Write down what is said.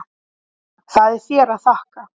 Það er þér að þakka.